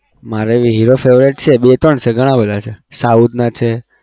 મારે hero favourite છે બે ત્રણ છે ધણા બધા છે south ના છે